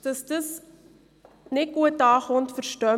Wir verstehen, dass das nicht gut ankommt.